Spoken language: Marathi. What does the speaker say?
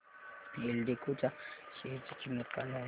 एल्डेको च्या शेअर ची किंमत काय आहे